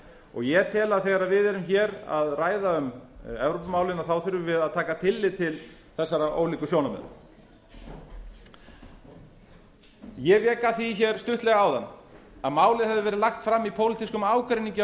og ég tel að þegar við erum að ræða um evrópumálin þurfum við að taka tillit til þessara ólíku sjónarmiða ég vék að því stuttlega áðan að málið hefði verið lagt fram í pólitískum ágreiningi á